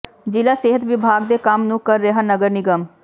ਜ਼ਿਲ੍ਹਾਂ ਸਿਹਤ ਵਿਭਾਗ ਦੇ ਕੰਮ ਨੂੰ ਕਰ ਰਿਹਾ ਨਗਰ ਨਿਗਮ